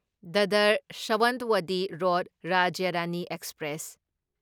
ꯗꯥꯗꯔ ꯁꯋꯟꯠꯋꯗꯤ ꯅꯣꯗ ꯔꯥꯖ꯭ꯌ ꯔꯥꯅꯤ ꯑꯦꯛꯁꯄ꯭ꯔꯦꯁ